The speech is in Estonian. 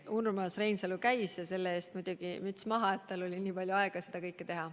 Urmas Reinsalu käis ja selle eest muidugi müts maha, et tal oli nii palju aega seda kõike teha.